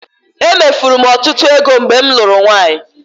Emefuru m ọtụtụ ego mgbe m lụrụ nwaanyị.